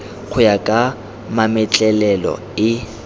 go ya ka mametlelelo e